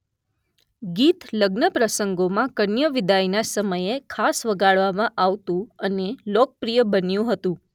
ગીત લગ્નપ્રસંગોમાં કન્યાવિદાયના સમયે ખાસ વગાડવામાં આવતું અને લોકપ્રિય બન્યું હતું.